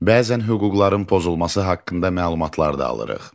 Bəzən hüquqların pozulması haqqında məlumatlar da alırıq.